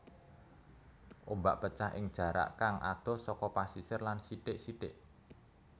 Ombak pecah ing jarak kang adoh saka pasisir lan sithik sithik